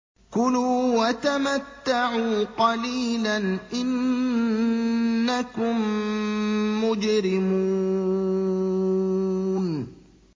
كُلُوا وَتَمَتَّعُوا قَلِيلًا إِنَّكُم مُّجْرِمُونَ